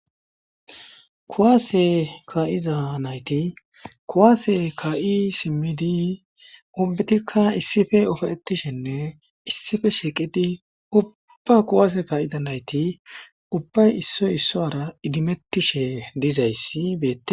kuwaase ka7iza nayti kuwaase ka7i simmidi obbetikka issife ofoetishenne issife shiqidi ubba kuwase ka7ida nayti ubbay issoy issoara idimettishe dizayssi beee